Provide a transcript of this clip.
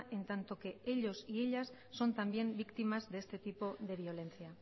en tanto que ellos y ellas son también víctimas de este tipo de violencia